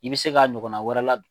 I bɛ se k'a ɲɔgɔnna wɛrɛ ladon.